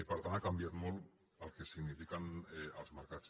per tant ha canviat molt el que signifiquen els mercats